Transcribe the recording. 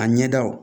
A ɲɛ daw